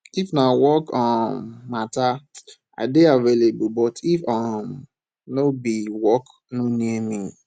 if na work um mata i dey available but if um no be work no near me